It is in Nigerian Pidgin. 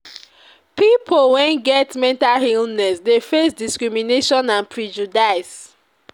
people wey get mental illness dey face discrimination and prejudice.